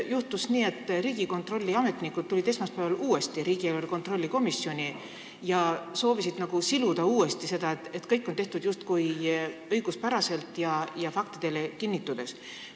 Juhtus aga nii, et Riigikontrolli ametnikud tulid esmaspäeval uuesti riigieelarve kontrolli erikomisjoni ja soovisid seda kõike uuesti siluda, nagu oleks kõik tehtud õiguspäraselt ja faktidele toetudes.